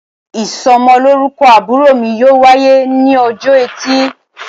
isómolorúkó àbúrò mi yóò wayé ni òjó ètì